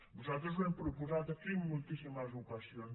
nosaltres ho hem proposat aquí en moltíssimes ocasions